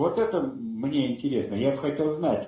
вот это мне интересно я бы хотел знать